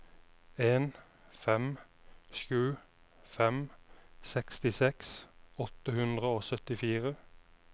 en fem sju fem sekstiseks åtte hundre og syttifire